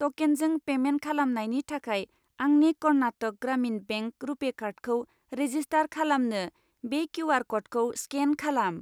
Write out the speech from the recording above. ट'केनजों पेमेन्ट खालामनायनि थाखाय आंनि कर्नाटक ग्रामिन बेंक रुपे कार्डखौ रेजिस्टार खालामनो बे किउ.आर. क'डखौ स्केन खालाम।